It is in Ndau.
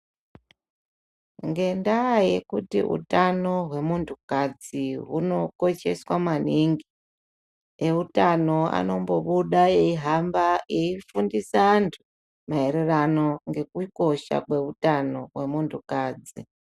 Ngendaa yekuti utano hwemuntukadzi hunokosheswa maningi, eutano anombobuda eihamba eifundisa antu, maererano ngekukosha kweutano hwemuntukadzi.